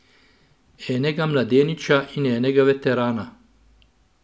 Enega mladeniča in enega veterana.